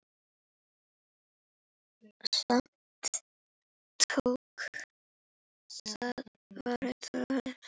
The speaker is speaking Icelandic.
Sumt vakti þó furðu.